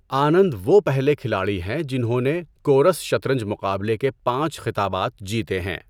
آنند وہ پہلے کھلاڑی ہیں جنہوں نے کورَس شطرنج مقابلے کے پانچ خطابات جیتے ہیں۔